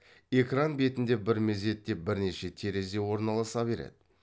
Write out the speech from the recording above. экран бетінде бір мезетте бірнеше терезе орналаса береді